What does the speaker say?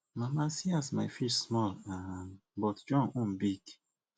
mama see as my fish small um but john own big